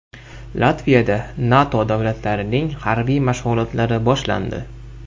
Latviyada NATO davlatlarining harbiy mashg‘ulotlari boshlandi.